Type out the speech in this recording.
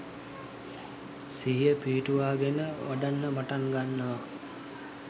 සිහිය පිහිටුවාගෙන වඩන්න පටන් ගන්නවා.